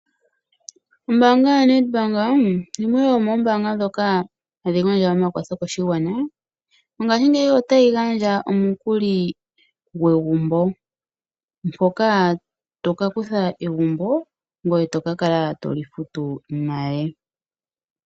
Ombaanga yaNet bank yimwe yomoombaanga dhoka hayi gandja omakwatho koshigwana. Mongaashingeyi otayi gandja omukuli gwegumbo, ngoka toka tutha egumbo, ngoye toka kala toli futu nale.